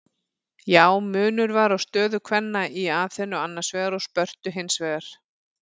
Já, munur var á stöðu kvenna í Aþenu annars vegar og Spörtu hins vegar.